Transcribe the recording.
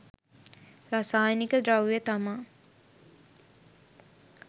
රසායනික ද්‍රව්‍ය තමා